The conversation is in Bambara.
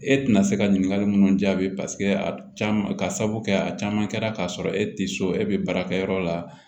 E tɛna se ka ɲininkali mun jaabi paseke k'a sababu kɛ a caman kɛra k'a sɔrɔ e tɛ so e bɛ baara kɛ yɔrɔ la